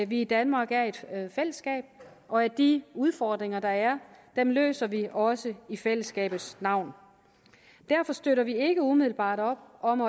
vi i danmark er et fællesskab og at de udfordringer der er løser vi også i fællesskabets navn derfor støtter vi ikke umiddelbart op om